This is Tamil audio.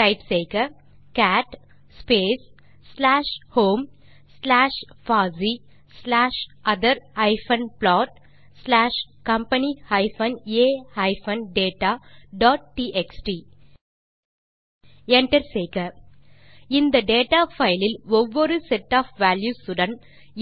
டைப் செய்க cat space slash home slash பாசி backslash other plot slash company a dataடிஎக்ஸ்டி இந்த டேட்டா பைல் லில் ஒவ்வொரு செட் ஒஃப் வால்யூஸ் உடன்